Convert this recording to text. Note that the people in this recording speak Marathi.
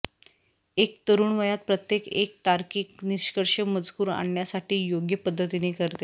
एक तरुण वयात प्रत्येक एक तार्किक निष्कर्ष मजकूर आणण्यासाठी योग्य पद्धतीने करते